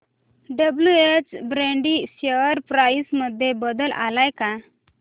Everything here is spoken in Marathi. डब्ल्युएच ब्रॅडी शेअर प्राइस मध्ये बदल आलाय का